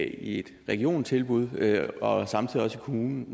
i et regionstilbud og samtidig i kommunen